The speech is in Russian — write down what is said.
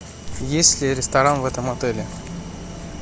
есть ли ресторан в этом отеле